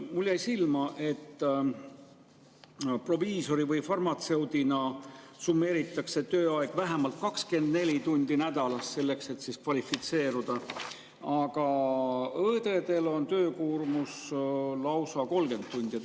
Mulle jäi silma, et proviisoril või farmatseudil on summeeritud tööaeg, vähemalt 24 tundi nädalas, selleks et kvalifitseeruda, aga õdedel on töökoormus lausa 30 tundi.